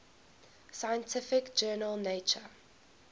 scientific journal nature